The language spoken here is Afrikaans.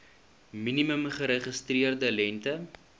minimum geregistreerde lengte